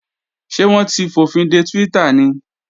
Ṣé wọ́n ti fòfinde Twitter ni?